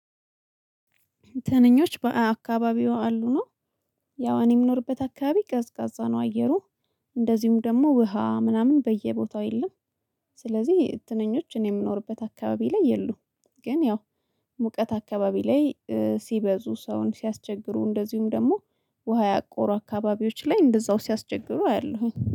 ትንኞች በአካባቢው አሉ ነው። ያው እኔ የምኖርበት አካባቢ ቀዝቃዛ ነው አየሩ። እንደዚሁም ደሞሞ ውሃ ምናምን በየቦታው የለም። ስለዚህ ትንኞች እኔ የምኖርበት አካባቢ ላይ የሉም። ግን ያው ሙቀት አካባቢ ላይ ሲበዙ ሰውን ሲያስቸግሩ እንደዚሁም ደግሞ ውሃ ያቆሩ አካባቢዎች ላይ እንደዛው ሲያስቸግሩ አያለሁኝ